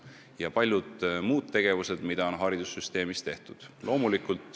Ja haridussüsteemis on ka palju muud tehtud.